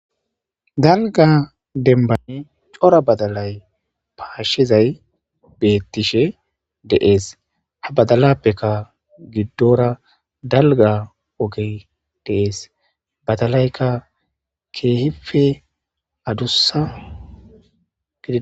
Dalga dembane cora badalay paashshizay beettishe deees ha badalappeka giddora dalga oge deees badalaykka keehife adussag.